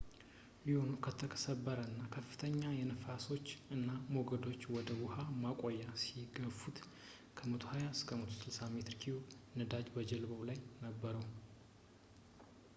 ሉኖው በተሰበረ እና ከፍተኛ ንፋሶች እና ሞገዶች ወደ ውሃ ማቆሚያው ሲገፉት ከ120-160 ሜትር ኪዩብ ነዳጅ በጀልባው ላይ ነበረው